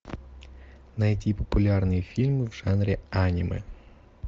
найти популярные фильмы в жанре аниме